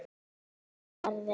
Farðu, farðu.